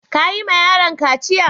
Ka yi ma yaron kaciya?